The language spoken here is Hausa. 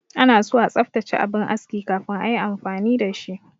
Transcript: Anaso a tsaftace abin aski kafin ayi amfani da shi.